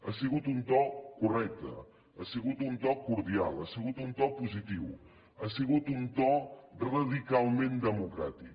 ha sigut un to correcte ha sigut un to cordial ha sigut un to positiu ha sigut un to radicalment democràtic